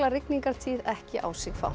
rigningartíð ekki á sig fá